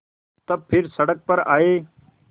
तब फिर सड़क पर आये